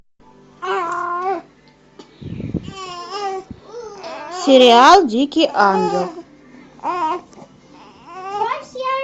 сериал дикий ангел